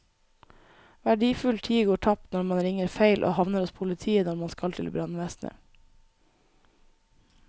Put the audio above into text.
Verdifull tid går tapt når man ringer feil og havner hos politiet når man skal til brannvesenet.